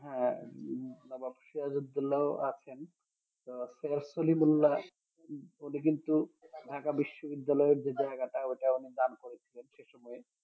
হ্যাঁ নবাব সিরাজউদ্দৌলা আছেন তো সিরাজ সলিমুল্লাহ উনি কিন্তু ঢাকা বিশ্ববিদ্যালয় এর যে জায়গাটা ওটা উনি দান করেছিলেন সেসময়ে